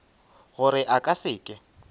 gore a ka se ke